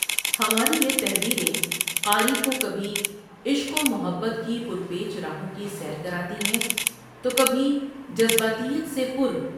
ہماری یہ تحریریں قاری کو کھبی عشق ومحبت کی پر پیچ راہوں کی سیر کراتی ہے تو کبھی جذباتیت سے پر